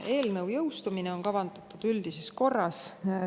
Eelnõu jõustumine on kavandatud üldises korras.